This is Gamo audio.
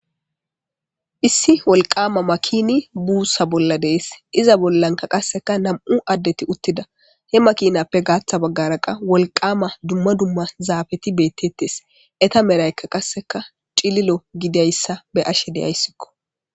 ISSI WOLIQAMA MAKINI BUSSA BOLLA DEYESI, IZA BOLLANIKKA NAMU'U ADETI UTIDA, HE MAKINAPPE GATHA BAGGARA WOLIQAMA ZAFETI BETETES, ETTA MEDHAYIKA CILILO GIDIDAYISA BEYASHE DAYISIKO.